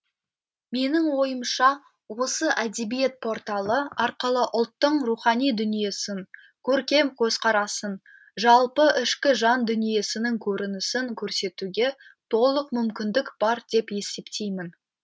менің ойымша осы әдебиет порталы арқылы ұлттың рухани дүниесін көркем көзқарасын жалпы ішкі жан дүниесінің көрінісін көрсетуге толық мүмкіндік бар деп есептеймін